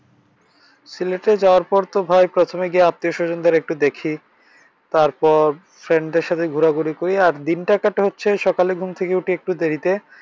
সিলেটে যাওয়ার পর তো ভাই প্রথমে গিয়ে আত্মীয় স্বজদের একটু দেখি। তারপর friend দের সাথে ঘুরাঘুরি করি। আর দিনটা কাটে হচ্ছে সকালে ঘুম থেকে উঠি একটু দেরিতে।